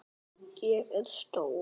Hvorn vil ég frekar vinna?